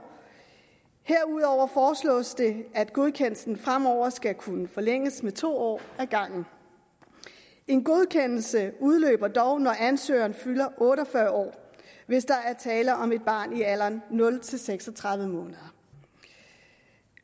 herudover foreslås det at godkendelsen fremover skal kunne forlænges med to år af gangen en godkendelse udløber dog når ansøgeren fylder otte og fyrre år hvis der er tale om et barn i alderen nul seks og tredive måneder